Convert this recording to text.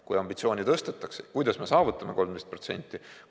Kui ambitsiooni tõstetakse, kuidas me saavutame 13%?